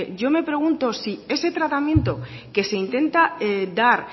yo me pregunto si ese tratamiento que se intenta dar